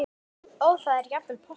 Og þá var jafnvel poppað.